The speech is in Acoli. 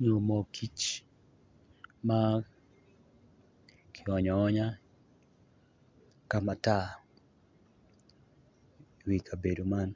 nyo moo kic ma ki onyo aonya ka matar i wi kabedo man